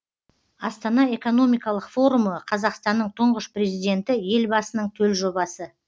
астана экономикалық форумы қазақстанның тұңғыш президенті елбасының төл жобасы